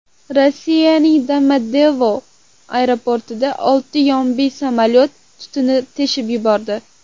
Rossiyaning Domodedovo aeroportida oltin yombi samolyot tubini teshib yubordi.